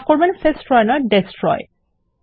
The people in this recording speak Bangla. মাফ করবেন সেস্ট্রয় নয় ডেস্ট্রয়